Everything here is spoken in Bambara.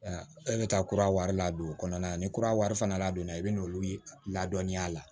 E bɛ taa kura wari ladon o kɔnɔna na ni kura ladonna i bɛ n'olu ladɔnniya a la